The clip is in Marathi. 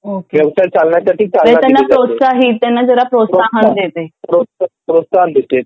म्हणजे त्यांना प्रोत्साहन प्रोत्सही त्याने प्रोत्साहन देते